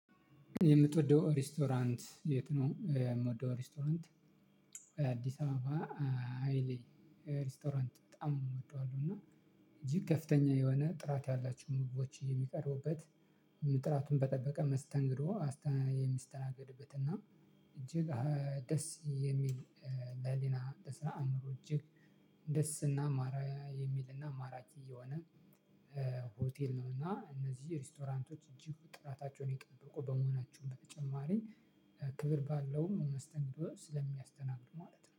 የምትወደው ሬስቶራንት የት ነው? የምወደው ሬስቶራንት አዲስ አበባ ሃይሌ ሬስቶራንት። እጅግ ከፍተኛ የሆነ ጥራት ያላቸው ምግቦች የሚቀርቡበት። ጥራቱን በጠበቀ መስተንግዶ አስተ የሚስተናገድበት እና እጅግ ደስ የሚል ለህሊና ለስራ ለአእምሮ እጅግ ደስ እና ማራ የሚልና ማራኪ የሆነ። ሆቴል ነው። እና እነዚህ ሬስቶራንቶች እጅግ ጥራታቸውን የጠበቁ በመሆናቸው በተጨማሪ ክብር ባለው መስተንግዶ ስለሚያስተናግዱ ማለት ነው